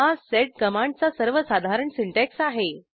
हा सेड कमांडचा सर्वसाधारण सिंटॅक्स आहे